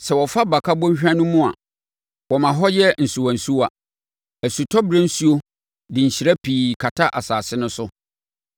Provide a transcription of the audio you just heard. Sɛ wɔfa Baka Bɔnhwa no mu a, wɔma hɔ yɛ nsuwansuwa; osutɔberɛ nsuo nso de nhyira pii kata asase no so.